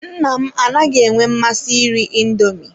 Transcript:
Nna m anaghị enwe mmasị iri indoomi.